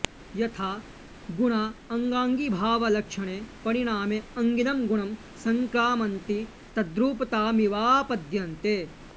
यथा गुणा अङ्गाङ्गिभावलक्षणे परिणामे अङ्गिनं गुणं संक्रामन्ति तद्रूपतामिवाऽऽपद्यन्ते